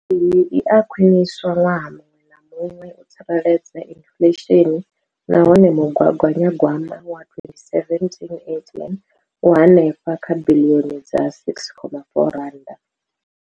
Iyi i a khwiniswa ṅwaha muṅwe na muṅwe u tsireledza inflesheni nahone mugaganya gwama wa 2017,18 u henefha kha biḽioni dza R6.4.